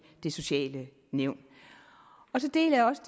det sociale nævn så deler jeg også